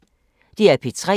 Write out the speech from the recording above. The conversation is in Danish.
DR P3